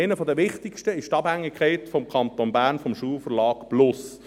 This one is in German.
einer der wichtigsten ist die Abhängigkeit des Kantons Bern vom Schulverlag plus.